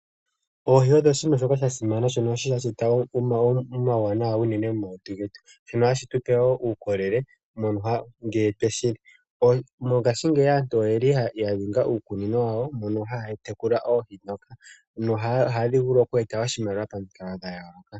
Oohi odho oshinima shoka shasimana , shono hashi eta omauwanawa momalutu getu nohashi tupe wo uukolele ngele tweshi li. Mongashingeyi aantu oyeli yaninga iikunino wawo mono haya tekula oohi nohadhi vulu okweeta oshimaliwa pamukalo gayooloka.